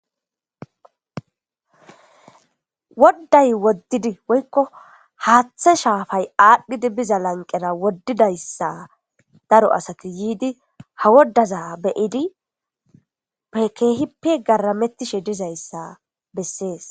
Woday wodidi woyko Hatha shapa lanqera wodaysa daro asati yidi ha wodaza beyidi kehipe garametishe dizaysa beaes